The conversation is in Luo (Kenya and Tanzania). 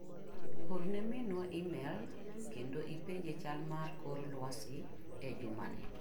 Orne minwa imel kendo ipenje chal mar kor lwasi e juma ni.